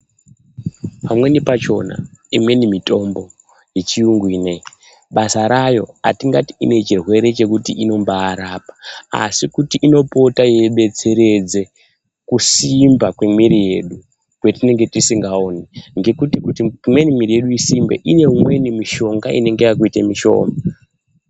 Pamweni pachona, imweni mitombo yechiyungu ineyi, basa rayo hatingati ine chirwere chekuti inombarapa. Asi kuti inopota yeibetseredze kusimba kwemiiri yedu kwetinenge tisingaoni ngekuti kuti imweni miiri yedu isimbe, ine umweni mishonga inenge yakuite mishoma.